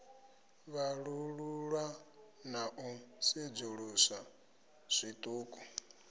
vhalululwa na u sedzuluswa zwiṱuku